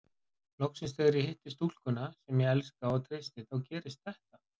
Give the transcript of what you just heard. Loksins þegar ég hitti stúlkuna sem ég elska og treysti þá gerist þetta.